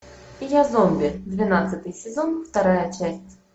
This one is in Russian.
я зомби двенадцатый сезон вторая часть